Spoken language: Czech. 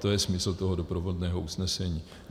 To je smysl toho doprovodného usnesení.